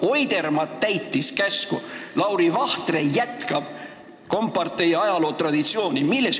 Oidermaa täitis käsku, Lauri Vahtre jätkab kompartei ajaloo traditsiooni.